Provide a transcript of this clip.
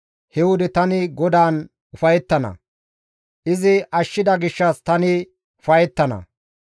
He wode tani GODAAN ufayettana; izi ashshida gishshas tani ufayettana.